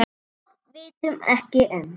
Og vitum ekki enn.